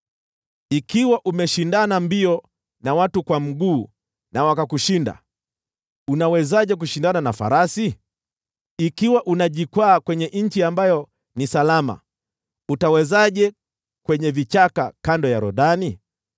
“Ikiwa umeshindana mbio na watu kwa mguu na wakakushinda, unawezaje kushindana na farasi? Ikiwa unajikwaa kwenye nchi ambayo ni salama, utawezaje kwenye vichaka kando ya Yordani?